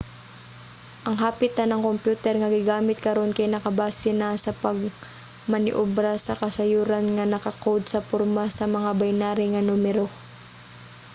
ang hapit tanang kompyuter nga gigamit karon kay nakabase na sa pagmaniobra sa kasayuran nga naka-code sa porma sa mga binary nga numero